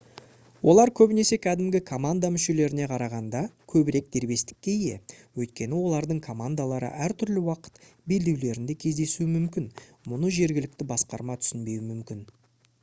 олар көбінесе кәдімгі команда мүшелеріне қарағанда көбірек дербестікке ие өйткені олардың командалары әртүрлі уақыт белдеулерінде кездесуі мүмкін мұны жергілікті басқарма түсінбеуі мүмкін